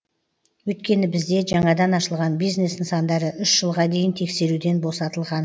өйткені бізде жаңадан ашылған бизнес нысандары үш жылға дейін тексеруден босатылған